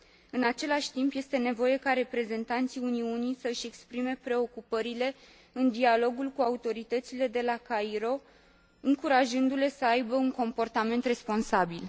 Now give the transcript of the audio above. În același timp, este nevoie ca reprezentanții Uniunii să și exprime preocupările în dialogul cu autoritățile de la Cairo, încurajându le să aibă un comportament responsabil.